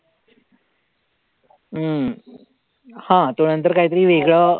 हम्म हा तो नंतर काहीतरी वेगळं